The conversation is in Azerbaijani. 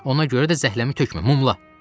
Ona görə də zəhləmi tökmə, mumla.